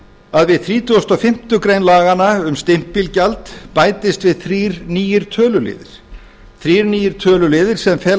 að við þrítugustu og fimmtu grein laganna um stimpilgjald bætist við þrír allir töluliðir sem fela